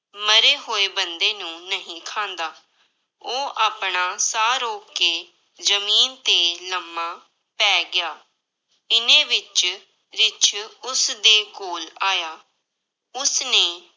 ਮਰੇ ਹੋਏ ਬੰਦੇ ਨੂੰ ਨਹੀਂ ਖਾਂਦਾ, ਉਹ ਆਪਣਾ ਸਾਹ ਰੋਕ ਕੇ ਜ਼ਮੀਨ ਤੇ ਲੰਮਾ ਪੈ ਗਿਆ, ਇੰਨੇ ਵਿੱਚ ਰਿੱਛ ਉਸਦੇ ਕੋਲ ਆਇਆ, ਉਸਨੇ